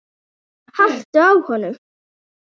haltu á honum!